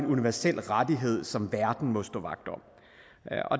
universel rettighed som verden må stå vagt om